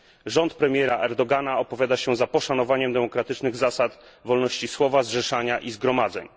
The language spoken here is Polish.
Rząd premiera Erdogana opowiada się za poszanowaniem demokratycznych zasad wolności słowa, zrzeszania się i zgromadzeń.